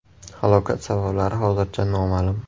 Halokat sabablari hozircha noma’lum.